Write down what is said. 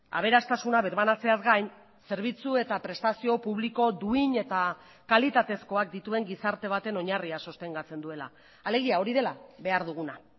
aberastasuna birbanatzeaz gain zerbitzu eta prestazio publiko duin eta kalitatezkoak dituen gizarte baten oinarria sostengatzen duela alegia hori dela behar duguna